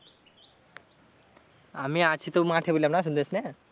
আমি আছি তো মাঠে বললাম না শুনতে পাইস না?